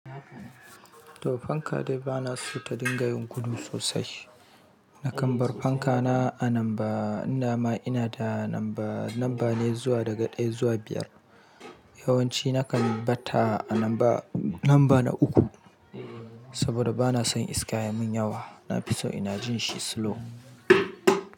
To fanka dai ba na so ta dinga yin gudu sosai. Nakan bar fanka na a namba, ina ma ina da namba, namba ne zuwa daga ɗaya zuwa biyar. Yawanci nakan batta a namba, namba na uku saboda ba na son iska yamin yawa. Na fi so ina jin shi slow.